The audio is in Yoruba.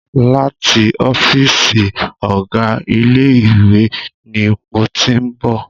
Láti ọ́fìsì ọ̀gá ilé ìwé ni mo tí ń bọ̀.